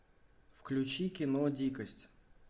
включи кино дикость